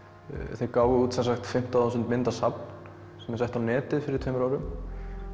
þeir gáfu út fimmtán þúsund myndasafn sem var sett á netið fyrir tveimur árum